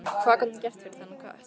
Hvað gat hún gert fyrir þennan kött?